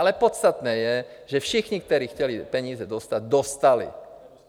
Ale podstatné je, že všichni, kteří chtěli peníze dostat, dostali.